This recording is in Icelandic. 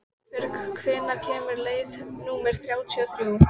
Einbjörg, hvenær kemur leið númer þrjátíu og þrjú?